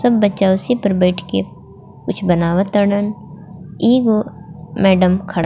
सब बच्चा उसी पर बइठ के कुछ बनावत ताड़न एगो मैडम खड़ा--